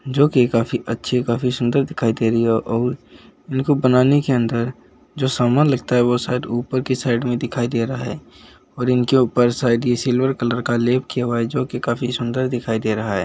जो कि काफी अच्छी काफी सुन्दर दिखाई दे रही है और इनको बनाने के अन्दर जो सामान लगता है वो शायद ऊपर की साईड में दिखाई दे रहा है और इनके ऊपर शायद ये सिल्वर कलर का लेप किया हुआ है जो कि काफी सुन्दर दिखाई दे रहा है।